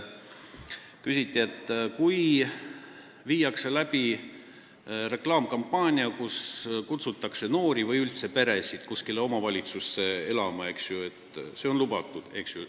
Küsiti, et kui tehakse reklaamikampaaniat, kus kutsutakse noori või üldse peresid kuskile omavalitsusse elama, siis kas see on lubatud.